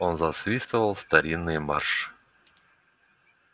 он засвистывал старинный марши